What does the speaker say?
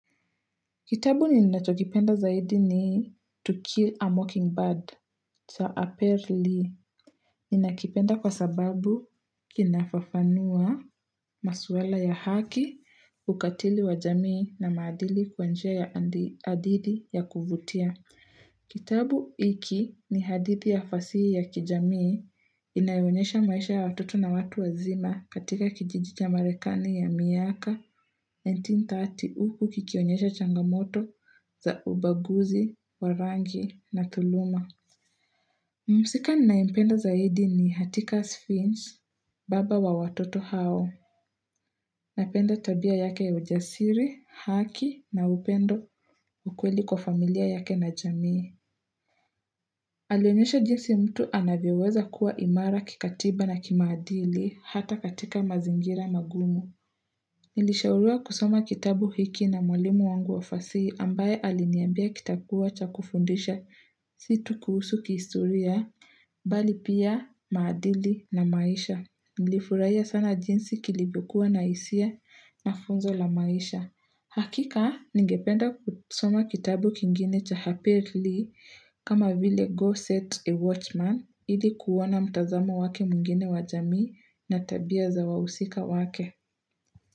Kitabu ninachokipenda zaidi ni to Kill a Mockingbird, cha Aperli. Ninakipenda kwa sababu kinafafanua maswala ya haki, ukatili wa jamii na maadili kwa njia ya adidi ya kuvutia. Kitabu hiki ni hadidhi ya fasihi ya kijamii inayoonyesha maisha ya watoto na watu wazima katika kijiji cha marekani ya miaka, 1930 huku kikionyesha changamoto za ubaguzi, wa rangi na dhuluma. Mhusika ninayempenda zaidi ni Hatika Sphinx, baba wa watoto hao. Napenda tabia yake ya ujasiri, haki na upendo ukweli kwa familia yake na jamii. Alionyesha jinsi mtu anavyoweza kuwa imara kikatiba na kimaadili hata katika mazingira magumu. Nilishauriwa kusoma kitabu hiki na mwalimu wangu wafasi ambaye aliniambia kitakuwa cha kufundisha si tu kuhusu kihistoria, bali pia maadili na maisha. Nilifurahia sana jinsi kilivyokua na hisia na funzo la maisha. Hakika, ningependa kusoma kitabu kingine cha Aperli kama vile Go Set a Watchman ili kuona mtazamo wake mwingine wa jamii na tabia za wahusika wake.